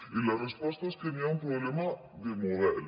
i la resposta és que n’hi ha un problema de model